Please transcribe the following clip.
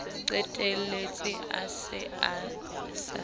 qetelletse a se a sa